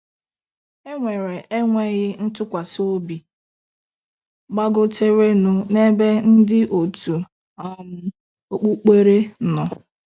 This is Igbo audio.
E nwere enweghị ntụkwasịobi gbagoterenụ n'ebe ndị òtù um okpukpere nọ.